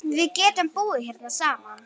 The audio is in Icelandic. Við getum búið hérna saman.